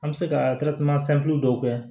An bɛ se ka dɔw kɛ